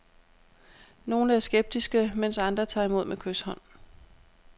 Nogle er skeptiske, mens andre tager imod med kyshånd.